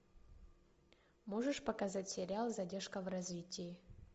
можешь показать сериал задержка в развитии